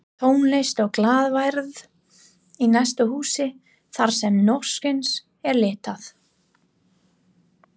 Tónlist og glaðværð í næsta húsi þarsem hnossins er leitað